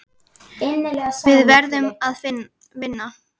Við verðum að vinna.